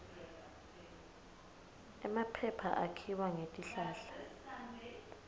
emaphepha akhiwa ngetihlahla